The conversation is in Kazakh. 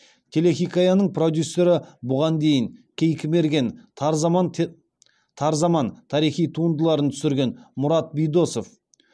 телехикаяның продюсері бұған дейін кейкі мерген тар заман тарихи туындыларын түсірген мұрат бидосов